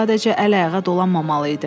Sadəcə əl-ayağa dolanmamalı idim.